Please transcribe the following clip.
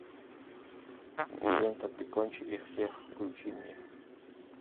лента прикончи их всех включи мне